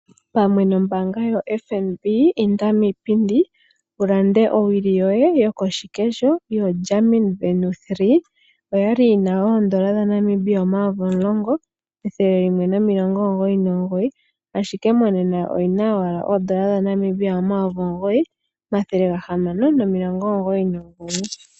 Pamwe nombaanga yoFNB, inda miipindi wu lande owili yoye yokoshikesho yoGarmin Venu 3. Oya li yi na oondola dhaNamibia omayovi omulongo, ethele limwe nomilongo omugoyi nomugoyi, ashike monena oyi na owala oondola dhaNamibia omayovi omugoyi, omathele gahamano nomilongo omugoyi nomugoyi.